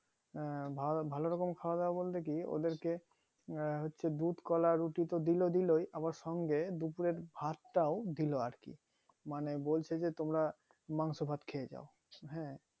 আহ ভা ভালো রকম খাওয়া দাওয়া বলতে কি ওদের কে আহ হচ্ছে দুধ কলা রুটি তো দিলো দিলোই আবার সঙ্গে আবার সঙ্গে দু plate ভাত টাও দিলো আর কি মানে বলছে যে তোমরা মাংস ভ্যাট খেয়েযাও হ্যাঁ